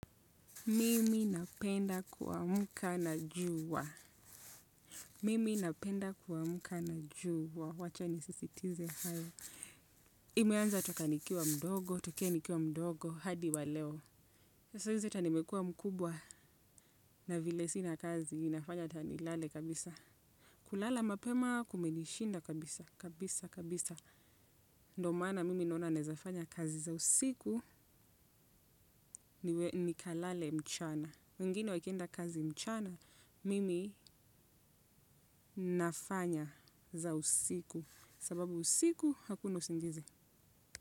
Mimi napenda kuamka na jua. Mimi napenda kuamka na jua. Wacha ni sisitize hayo. Imeanza toka nikiwamdogo, tokea nikiwamdogo, hadi wa leo. Sasa hizi hata nimekua mkubwa na vile sina kazi. Inafanya hata nilale kabisa. Kulala mapema kumenishinda kabisa, kabisa, kabisa. Ndio maana mimi naona nawezafanya kazi za usiku, nikalale mchana. Wengine wakienda kazi mchana, mimi nafanya za usiku. Sababu usiku hakuna usingizi.